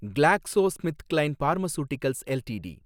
GlaxoSmithKline pharmaceuticals LTD